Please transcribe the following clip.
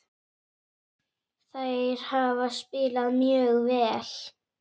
Þær hafa spilað mjög vel.